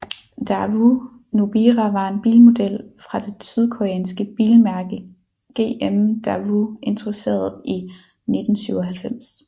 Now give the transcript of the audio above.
Daewoo Nubira var en bilmodel fra det sydkoreanske bilmærke GM Daewoo introduceret i 1997